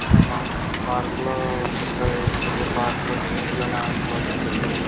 ఒక పార్క్ ఈ పార్కు లో చెత్త వేసిన్నారు. పార్కు లో చిన్న పిల్లలు చెత్త పొద్ --